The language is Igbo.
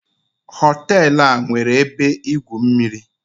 Hotel a nwere ebe igwu mmiri